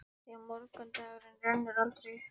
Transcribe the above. Því að morgundagurinn rennur aldrei upp.